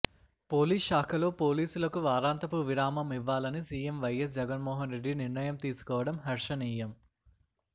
police శాఖలో పోలీసులకు వారాంతపు విరామం ఇవ్వాలని సీఎం వైఎస్ జగన్మోహన్రెడ్డి నిర్ణయం తీసుకోవటం హర్షణీయం